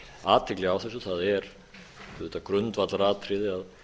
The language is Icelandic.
athygli á þessu það er auðvitað grundvallaratriði að